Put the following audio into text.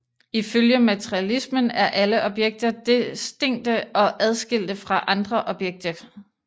Ifølge materialismen er alle objekter distinkte og adskilte fra alle andre objekter